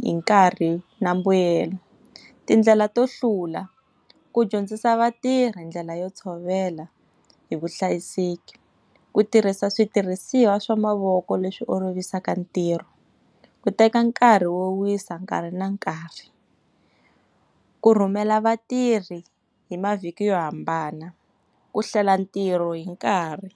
hi nkarhi na mbuyelo. Tindlela to hlula, ku dyondzisa vatirhi ndlela yo tshovela hi vuhlayiseki, ku tirhisa switirhisiwa swa mavoko leswi olovisaka ntirho, ku teka nkarhi wo wisa nkarhi na nkarhi, ku rhumela vatirhi hi mavhiki yo hambana, ku hlela ntirho hi nkarhi.